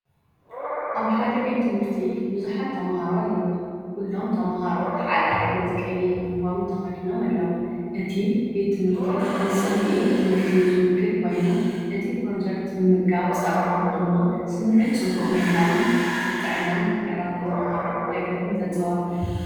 ኣብ ሓደ ቤት ትምህርቲ ብዙሓት ተማሃሮ ኣለዉ። ኩሎም ተምሃሮ ሓደ ዓይነት ቀይሕ ዩኒፎርም ተኸዲኖም ኣለዉ። እቲ ቤት ትምህርቲ ንጽምኢ ትምህርቲ ዝውክል ኮይኑ፡ እቲ ፕሮጀክት ምምጋብ ጸባ ድማ ስምዒት ጽቡቕ ምህላውን ንጥዕናን ምዕባለን ተማሃሮ ደገፍን ዘንጸባርቕ እዩ።